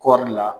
Kɔɔri la